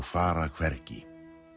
fara hvergi